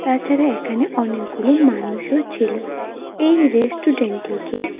তাছাড়া এখানে অনেকগুলো মানুষও ছিল এই রেস্টুরেন্ট -টিকে--